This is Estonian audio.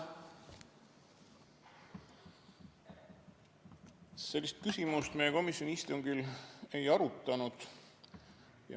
Sellist küsimust me komisjoni istungil ei arutanud.